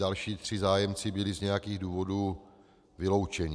Další tři zájemci byli z nějakých důvodů vyloučeni.